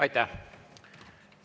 Aitäh!